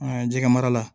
An ka jɛgɛ mara la